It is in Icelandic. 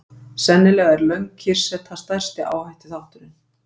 Sennilega er löng kyrrseta stærsti áhættuþátturinn.